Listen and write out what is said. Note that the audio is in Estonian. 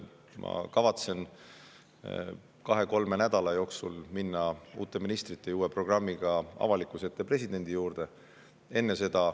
Ma kavatsen kahe-kolme nädala jooksul minna uute ministrite ja uue programmiga avalikkuse ette ja presidendi juurde.